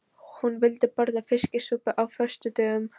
Hún vildi borða fiskisúpu á föstudögum.